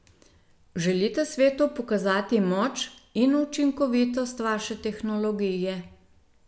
Želite svetu pokazati moč in učinkovitost vaše tehnologije?